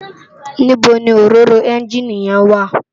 Nibó ni óróró ènjiní yèn wá?